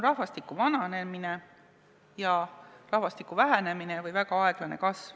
Rahvastik vananeb ja väheneb või kasvab väga aeglaselt.